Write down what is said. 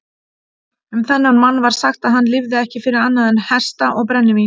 Um þennan mann var sagt að hann lifði ekki fyrir annað en hesta og brennivín.